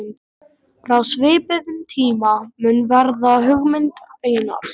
Frá svipuðum tíma mun vera hugmynd Einars